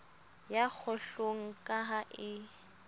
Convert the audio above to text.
ya kgohlong ka ha e